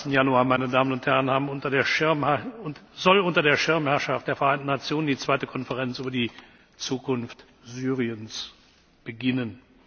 22. Januar 2014 soll unter der Schirmherrschaft der Vereinten Nationen die zweite Konferenz über die Zukunft Syriens beginnen.